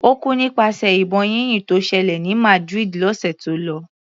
Ó kú nípasẹ̀ ìbọn yínyìn tó ṣẹlẹ̀ ní Madrid lọ́sẹ̀ tó lọ.